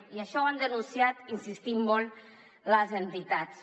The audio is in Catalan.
i això ho han denunciat insistint hi molt les entitats